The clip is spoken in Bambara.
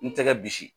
N tɛgɛ bisi